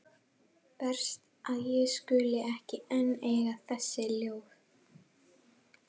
Verst að ég skuli ekki enn eiga þessi ljóð.